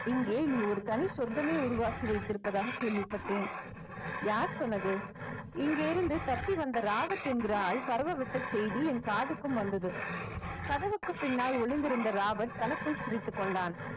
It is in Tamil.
இங்கே நீ ஒரு தனி சொர்க்கமே உருவாக்கி வைத்திருப்பதாக கேள்விப்பட்டேன் யார் சொன்னது இங்கே இருந்து தப்பி வந்த ராபர்ட் என்கிற ஆள் பரவ விட்ட செய்தி என் காதுக்கும் வந்தது கதவுக்கு பின்னால் ஒளிந்திருந்த ராபர்ட் தனக்குள் சிரித்துக் கொண்டான்